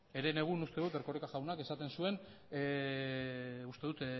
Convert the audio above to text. herenegun uste dut erkoreka jaunak esaten duen uste dut